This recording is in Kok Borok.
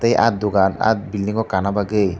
ah dogan ah bilding o kana bagoi.